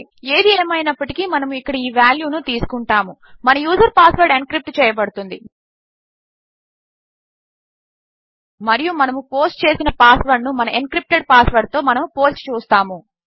ఏది ఏమైనప్పటికీ మనము ఇక్కడ ఈ వాల్యూ ను తీసుకుంటాము -మన యూజర్ పాస్వర్డ్ ఎన్క్రిప్ట్ చేయబడుతుంది మరియు మనము పోస్ట్ చేసిన పాస్ వర్డ్ ను మన ఎన్క్రిప్టెడ్ పాస్ వర్డ్ తో మనము పోల్చి చూస్తాము